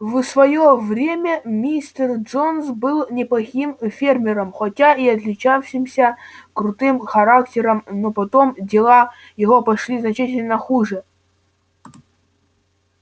в своё время мистер джонс был неплохим фермером хотя и отличавшимся крутым характером но потом дела его пошли значительно хуже